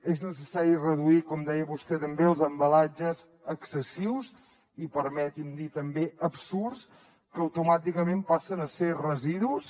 és necessari reduir com deia vostè també els embalatges excessius i permeti’m dir també absurds que automàticament passen a ser residus